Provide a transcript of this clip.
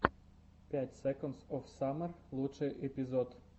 пять секондс оф саммер лучший эпизод